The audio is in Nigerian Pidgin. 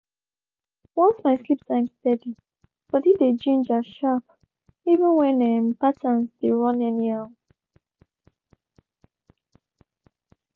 once my sleep time steady body dey ginger sharp even when um patterns dey run anyhow.